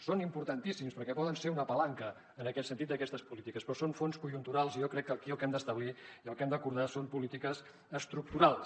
són importantíssims perquè poden ser una palanca en aquest sentit d’aquestes polítiques però són fons conjunturals i jo crec que aquí el que hem d’establir i el que hem d’acordar són polítiques estructurals